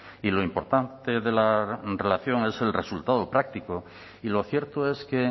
y lo importante de la relación es el resultado práctico y lo cierto es que